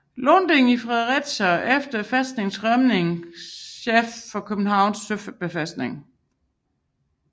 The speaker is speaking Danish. Lunding i Fredericia og efter fæstningens rømning chef for Københavns Søbefæstning